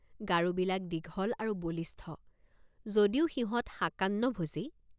গাৰোবিলাক দীঘল আৰু বলিষ্ঠ যদিও সিহঁত শাকান্নভোজী।